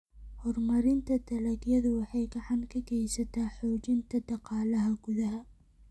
Horumarinta dalagyadu waxay gacan ka geysataa xoojinta dhaqaalaha gudaha.